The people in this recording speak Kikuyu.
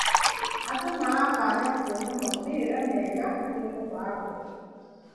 Andũ maratanya kuona maumĩrĩra mega harĩ mĩbango.